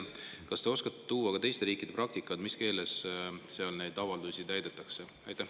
Kas te oskate tuua teiste riikide praktikast, mis keeles seal neid avaldusi täidetakse?